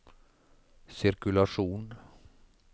sirkulasjon